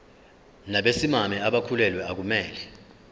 nabesimame abakhulelwe akumele